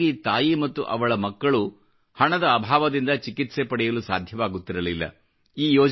ಏಕಾಂಗಿ ತಾಯಿ ಮತ್ತು ಅವಳ ಮಕ್ಕಳು ಹಣದ ಅಭಾವದಿಂದ ಚಿಕಿತ್ಸೆ ಪಡೆಯಲು ಸಾಧ್ಯವಾಗುತ್ತಿರಲಿಲ್ಲ